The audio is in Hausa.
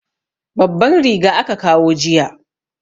Babban riga aka kawo jiya.